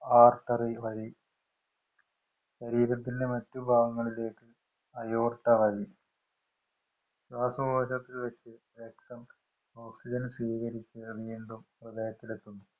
Artery വഴി ശരീരത്തിന്‍റെ മറ്റു ഭാഗങ്ങളിലേക്ക് aorta വഴി ശ്വാസകോശത്തില്‍ വച്ചു രക്തം ഓക്സിജൻ സ്വീകരിച്ചു വീണ്ടും ഹൃദയത്തിലെത്തുന്നു.